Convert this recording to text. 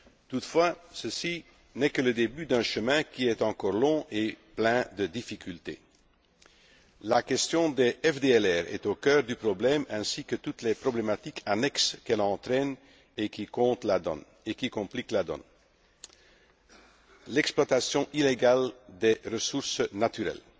Toutefois ceci n'est que le début d'un chemin qui est encore long et pavé de difficultés. La question des FDLR est au cœur du problème ainsi que toutes les problématiques annexes qu'elle entraîne et qui compliquent la donne l'exploitation illégale des ressources naturelles